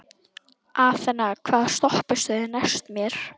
Athena, hvaða stoppistöð er næst mér?